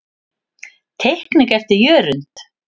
Teikning eftir Jörund.